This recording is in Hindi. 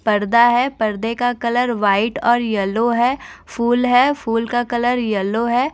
पर्दा है पर्दे का कलर व्हाइट और येलो है फूल है फूल का कलर येलो है।